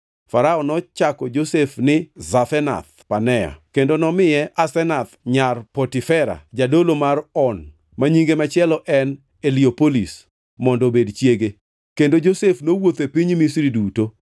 Farao nochako Josef ni Zafenath-Panea kendo nomiye Asenath nyar Potifera jadolo mar On (ma nyinge machielo en Eliopolis), mondo obed chiege. Kendo Josef nowuotho e piny Misri duto.